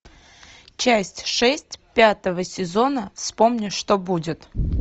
часть шесть пятого сезона вспомни что будет